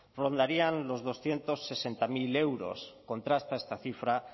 rondarían los doscientos sesenta mil euros contrasta esta cifra